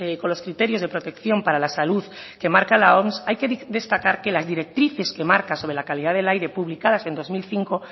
con los criterios de protección para la salud que marca la oms hay que destacar que las directrices que marca sobre la calidad del aire publicadas en dos mil cinco